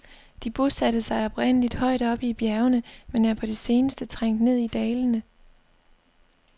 De bosatte sig oprindeligt højt oppe i bjergene, men er på det seneste trængt ned i dalene.